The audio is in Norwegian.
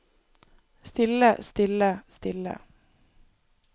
stille stille stille